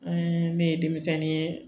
An ne ye denmisɛnnin ye